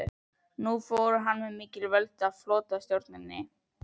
Nú fór hann með mikil völd í flotastjórninni.